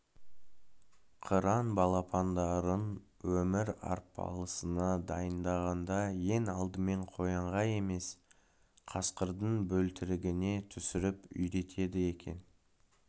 қыран балапандарын өмір арпалысына дайындағанда ең алдымен қоянға емес қасқырдың бөлтірігіне түсіріп үйретеді екен